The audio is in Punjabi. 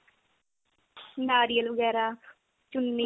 ਨਾਰੀਅਲ ਵਗੈਰਾ ਚੀਨੀ